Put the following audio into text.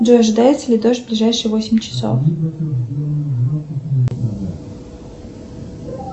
джой ожидается ли дождь в ближайшие восемь часов